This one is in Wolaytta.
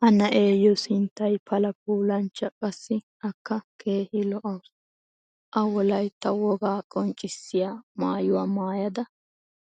Ha na'eeyo sinttay pala puulanchcha qassi akka keehi lo'awusu. a wolaytta wogaa qonccissiya maayuwa maayadda